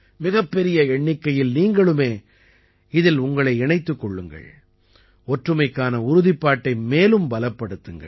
மிகப்பெரிய எண்ணிக்கையில் நீங்களும் இதிலே உங்களை இணைத்துக் கொள்ளுங்கள் ஒற்றுமைக்கான உறுதிப்பாட்டை மேலும் பலப்படுத்துங்கள்